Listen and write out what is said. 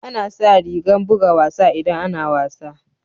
Ana sa rigan buga wasa idan ana wasa.